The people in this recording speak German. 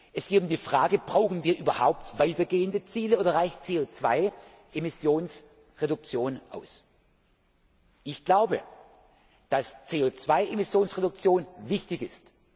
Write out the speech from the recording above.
Es geht um die Frage Brauchen wir überhaupt weitergehende Ziele, oder reicht CO 2 Emissions Reduktion aus? Ich glaube, dass CO 2 Emissions Reduktion wichtig